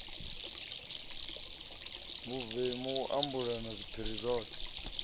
vhuvemu a ambulula zwiphiri zwoṱhe